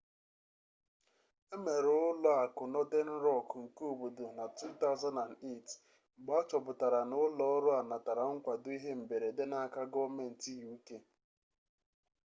emere ụlọ akụ northern rock nke obodo na 2008 mgbe achọpụtara na ụlọ ọrụ a natara nkwado ihe mberede n'aka gọọmentị uk